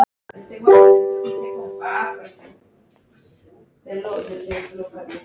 Komin til að vera?